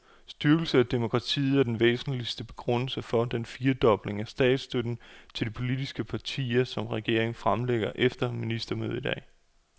Styrkelse af demokratiet er den væsentligste begrundelse for den firedobling af statsstøtten til de politiske partier, som regeringen fremlægger efter ministermødet i dag.